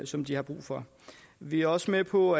som de har brug for vi er også med på